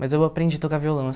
Mas eu aprendi a tocar violão,